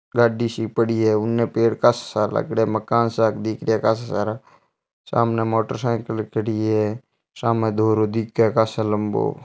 गाड़ी सी पड़ी है उने पेड़ कासा सारा लागेड़ा है मकान सा दिखाई कासा सारा सामने मोटरसाइकिल खड़ी है सामे धोरो दिखे काफी लम्बो --